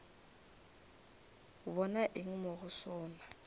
bona eng mo go sona